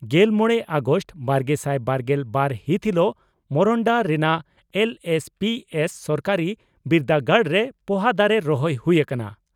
ᱜᱮᱞ ᱢᱚᱲᱮ ᱟᱜᱚᱥᱴ ᱵᱟᱨᱜᱮᱥᱟᱭ ᱵᱟᱨᱜᱮᱞ ᱵᱟᱨ ᱦᱤᱛ ᱦᱤᱞᱩᱜ ᱢᱚᱨᱚᱱᱰᱟ ᱨᱮᱱᱟᱜ ᱮᱞᱹᱮᱥᱹᱯᱤᱹᱮᱥᱹ ᱥᱚᱨᱠᱟᱨᱤ ᱵᱤᱨᱫᱟᱹᱜᱟᱲᱨᱮ ᱯᱚᱦᱟ ᱫᱟᱨᱮ ᱨᱚᱦᱚᱭ ᱦᱩᱭ ᱟᱠᱟᱱᱟ ᱾